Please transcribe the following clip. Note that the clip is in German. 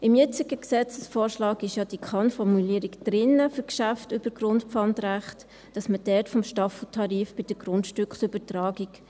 Im jetzigen Gesetzesvorschlag ist ja diese Kann-Formulierung für Geschäfte über Grundpfandrecht drin, dass man dort vom Staffeltarif bei der Grundstückübertragung …